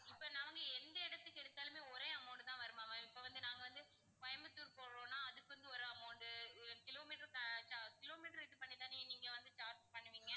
இப்போ நாங்க எந்த இடத்துக்கு எடுத்தாலுமே ஒரே amount தான் வருமா ma'am இப்போ வந்து நாங்க வந்து கோயம்புத்தூர் போறோன்னா அதுக்கு வந்து ஒரு amount டு kilometer க்கு kilometer இது பண்ணிதான நீங்க வந்து charge பண்ணுவீங்க?